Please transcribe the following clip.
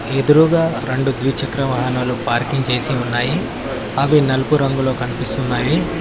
ఎదురుగా రెండు ద్విచక్ర వాహనాలు పార్కింగ్ చేసి ఉన్నాయి అవి నలుపు రంగులో కనిపిస్తున్నాయి.